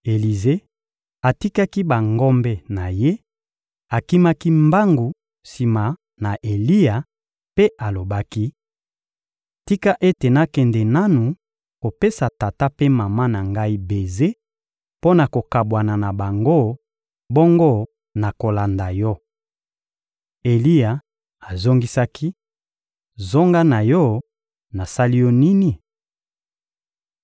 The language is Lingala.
Elize atikaki bangombe na ye, akimaki mbangu sima na Eliya mpe alobaki: — Tika ete nakende nanu kopesa tata mpe mama na ngai beze mpo na kokabwana na bango, bongo nakolanda yo. Eliya azongisaki: — Zonga na yo, nasali yo nini?